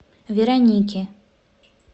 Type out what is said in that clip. вероники